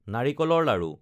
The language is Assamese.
নাৰিকলৰ লাড়ু